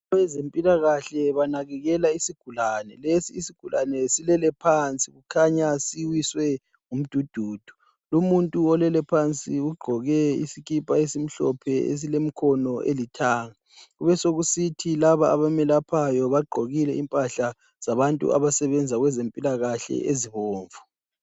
Abezempilakahle banakekela isigulane. Lesi isigulane silele phansi, kukhanya siwiswe ngumdududu. Umuntu olele phansi ugqoke isikipa esimhlophe esilemkhono elithanga besekusithi abamelaphayo bagqokile impahla zabantu abasebenza kwezempilakahle ezibomvu.